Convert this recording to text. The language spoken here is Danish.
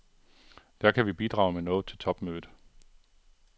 Der kan vi bidrage med noget til topmødet.